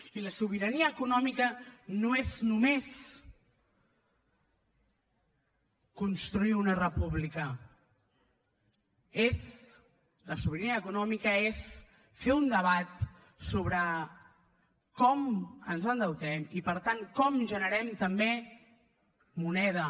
i la sobirania econòmica no és només construir una república la sobirania econòmica és fer un debat sobre com ens endeutem i per tant com generem també moneda